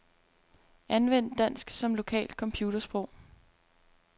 Anvend dansk som lokalt computersprog.